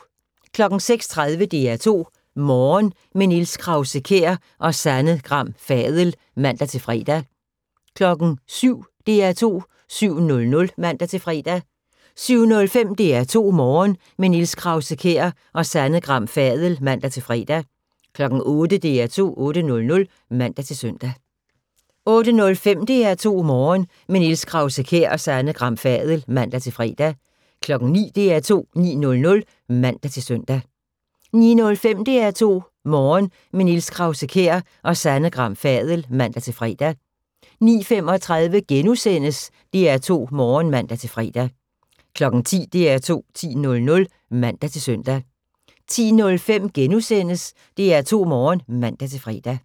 06:30: DR2 Morgen – med Niels Krause-Kjær og Sanne Gram Fadel (man-fre) 07:00: DR2 7:00 (man-fre) 07:05: DR2 Morgen – med Niels Krause-Kjær og Sanne Gram Fadel (man-fre) 08:00: DR2 8:00 (man-søn) 08:05: DR2 Morgen – med Niels Krause-Kjær og Sanne Gram Fadel (man-fre) 09:00: DR2 9:00 (man-søn) 09:05: DR2 Morgen – med Niels Krause-Kjær og Sanne Gram Fadel (man-fre) 09:35: DR2 Morgen *(man-fre) 10:00: DR2 10.00 (man-søn) 10:05: DR2 Morgen *(man-fre)